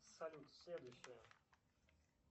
салют следующее